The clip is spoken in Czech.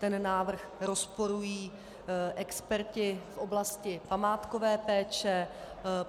Ten návrh rozporují experti v oblasti památkové péče.